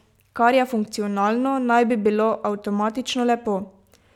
Kar je funkcionalno, naj bi bilo avtomatično lepo.